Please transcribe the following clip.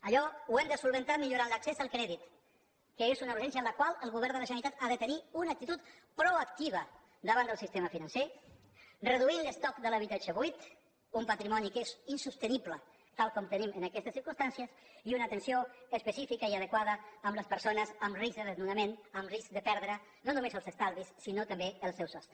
allò ho hem de resoldre millorant l’accés al crèdit que és una urgència en la qual el govern de la generalitat ha de tenir una actitud proactiva davant del sistema financer reduint l’estoc de l’habitatge buit un patrimoni que és insostenible tal com tenim aquestes circumstàncies i una atenció específica i adequada a les persones amb risc de desnonament amb risc de perdre no només els estalvis sinó també el seu sostre